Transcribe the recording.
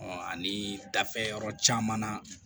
ani dafe yɔrɔ caman na